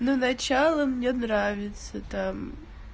ну начало мне нравится там